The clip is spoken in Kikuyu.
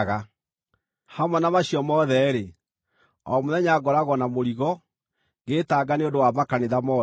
Hamwe na macio mothe-rĩ, o mũthenya ngoragwo na mũrigo, ngĩĩtanga nĩ ũndũ wa makanitha mothe.